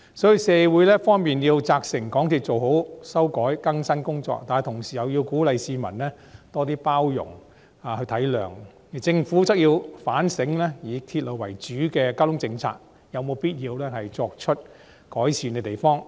所以，社會一方面要責成港鐵公司要做好修改更新工作，但同時又要鼓勵市民多些包容體諒，而政府則要反省以鐵路為主的交通政策有否必須改善之處。